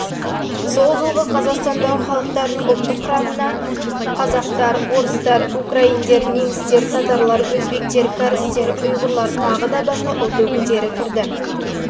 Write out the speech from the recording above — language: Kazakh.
кесте жылғы қазақстандағы халықтарының ұлттық құрамы халықтар қазақтар орыстар украиндар немістер татарлар өзбектер кәрістер ұйғырлар басқа